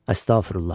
Əstəğfürullah.